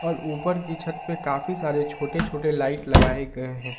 और ऊपर की छत पर काफी सारे छोटे छोटे लाइट लगाए गए हैं।